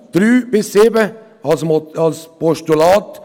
Die Punkte 3 bis 7 akzeptiere ich absolut als Postulat.